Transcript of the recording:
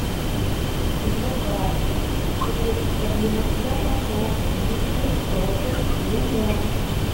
заказ средство для мытья полов мистер пропер лимон